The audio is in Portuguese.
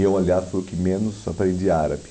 Eu, aliás, fui o que menos aprendi árabe.